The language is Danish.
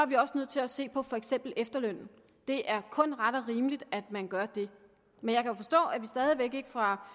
vi også nødt til at se på for eksempel efterlønnen det er kun ret og rimeligt at man gør det men jeg kan forstå at vi fra